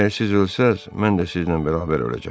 Əgər siz ölsəz, mən də sizlə bərabər öləcəm.